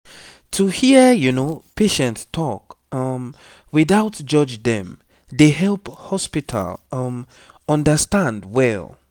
to hear patient talk um without judge dem dey help hospital um understand well